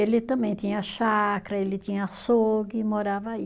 Ele também tinha chácara, ele tinha açougue, morava aí.